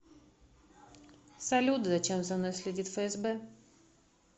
салют зачем за мной следит фсб